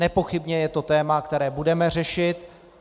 Nepochybně je to téma, které budeme řešit.